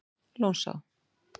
Lónsá